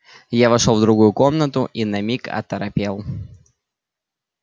я вошёл в другую комнату и на миг оторопел